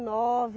nove